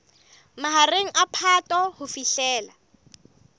mahareng a phato ho fihlela